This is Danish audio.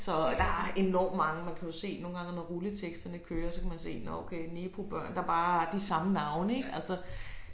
Så der er enormt mange man kan jo se nogle gange når rulleteksterne kører så kan man se nå okay nepobørn der bare har de samme navne ik altså